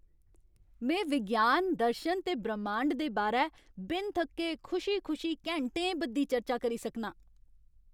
में विज्ञान, दर्शन ते ब्रह्मांड दे बारै बिन थक्के खुशी खुशी घैंटें बद्धी चर्चा करी सकनां।